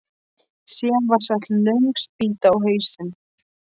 Síðan var sett löng spýta á hausinn.